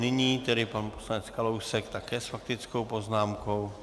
Nyní tedy pan poslanec Kalousek také s faktickou poznámkou.